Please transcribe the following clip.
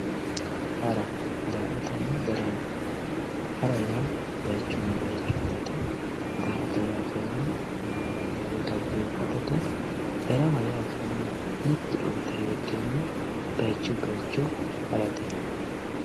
Hara daa`atana darama hara yaa bayichuni bayicho harate daa`ata yaa kayini maa`lala woyi dhageefatate darama yaa kayini mitte urde hedhena bayichuyi bayicho harate